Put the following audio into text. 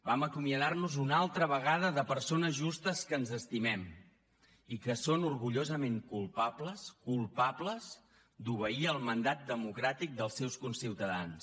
vam acomiadar nos una altra vegada de persones justes que ens estimem i que són orgullosament culpables culpables d’obeir el mandat democràtic dels seus conciutadans